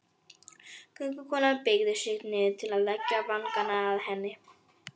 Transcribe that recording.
Göngukonan beygði sig niður til að leggja vangann að henni.